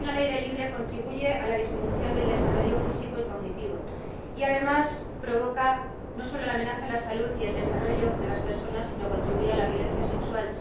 defecación al aire libre contribuye a la disminución del desarrollo físico y cognitivo, y además de amenazar la salud y el desarrollo de las personas contribuye a la violencia sexual.